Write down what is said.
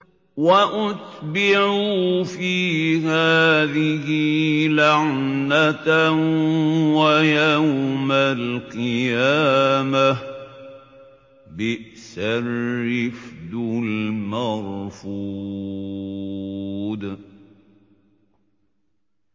وَأُتْبِعُوا فِي هَٰذِهِ لَعْنَةً وَيَوْمَ الْقِيَامَةِ ۚ بِئْسَ الرِّفْدُ الْمَرْفُودُ